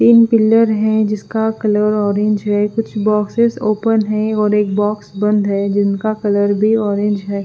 तिन पिलर है जिसका कलर ऑरेंज है कुछ बॉक्सेस ओपन है और एक बॉक्स बंद है जिनका कलर भी ऑरेंज है।